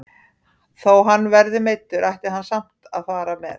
Þó hann verði meiddur ætti hann samt að fara með.